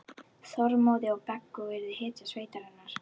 Þormóði og Beggu og yrði hetja sveitarinnar.